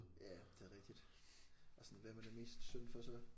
Ja det er rigtigt og sådan hvem er det mest synd for så